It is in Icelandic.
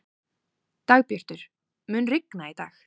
Dagbjartur, mun rigna í dag?